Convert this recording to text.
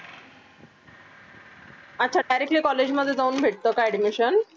असं directly college मध्ये जाऊन भेटत का admission